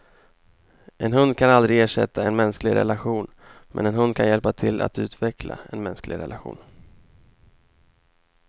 En hund kan aldrig ersätta en mänsklig relation, men en hund kan hjälpa till att utveckla en mänsklig relation.